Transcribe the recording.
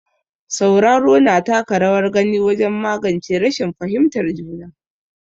Sauraro, na taka rawar gani wajen magance rashin fahimtar juna.